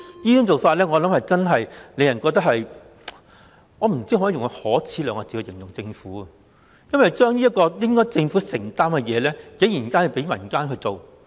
政府這種做法，我不知能否用可耻來形容，竟然把這個本來屬於政府的責任，交由民間負責。